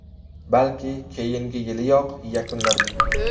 Balki, keyingi yiliyoq yakunlarman.